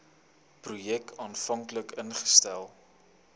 projek aanvanklik ingestel